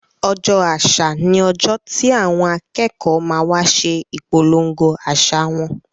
Ọjọ́ àṣà ni ọjọ́ tí àwọn akẹ́kọ̀ọ́ ma wa ṣe ìpolongo àṣà wọn